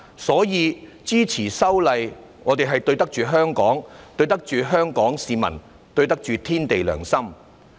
所以，支持修例，我們對得起香港，對得起香港市民，對得起天地良心。